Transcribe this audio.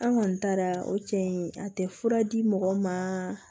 An kɔni taara o cɛ in a tɛ fura di mɔgɔ ma